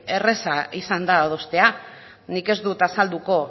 erraza izan da adostea nik ez dut azalduko